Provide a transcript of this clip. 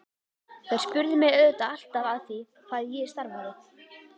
Þær spurðu mig auðvitað alltaf að því hvað ég starfaði.